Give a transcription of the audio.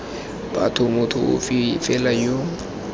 batho motho ofe fela yo